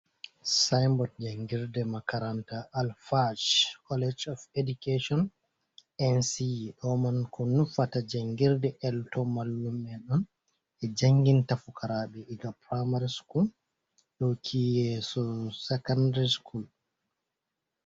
Sainbod jangirde makaranta, Alfaaj kolesh of edikeshon, NCE. Ɗo man ko nufata jangirde elto mallu en on. Ndi janginta fukaraɓe iga pramari skul yauki yeso sakandri skul.